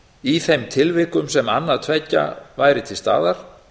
í þeim tilvikum sem annað tveggja væri til staðar